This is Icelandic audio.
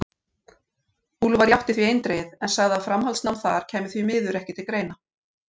Úlfar játti því eindregið, en sagði að framhaldsnám þar kæmi því miður ekki til greina.